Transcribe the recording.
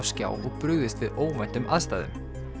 skjá og brugðist við óvæntum aðstæðum